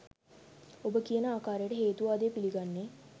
ඔබ කියන ආකාරයට හේතුවාදය පිළිගන්නේ